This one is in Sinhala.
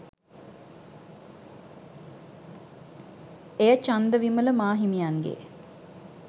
එය චන්දවිමල මා හිමියන්ගේ